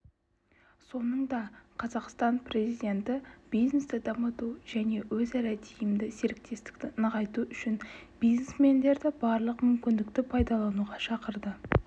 соңында қазақстан президенті бизнесті дамыту және өзара тиімді серіктестікті нығайту үшін бизнесмендерді барлық мүмкіндікті пайдалануға шақырды